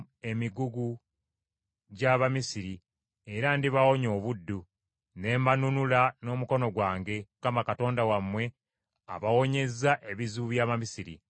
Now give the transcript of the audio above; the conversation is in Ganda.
Ndibafuula abantu bange, era nnaabeeranga Katonda wammwe, era mulitegeera nga nze Mukama Katonda wammwe abawonyezza ebizibu by’Abamisiri.